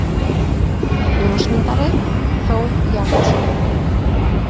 Ljósmyndari: Þór Jakobsson.